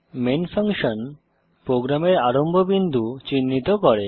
main function প্রোগ্রামের আরম্ভ বিন্দু চিহ্নিত করে